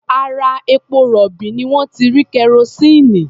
Ara epo-rọ̀bì ni wọ́n ti rí kerosíìnì.